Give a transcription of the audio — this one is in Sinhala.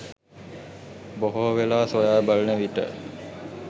බොහෝ වේලා සොයා බලනවිට